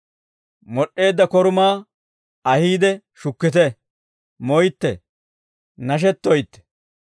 Mod'd'eedda korumaa ahiide shukkite; moytte, nashettoytte.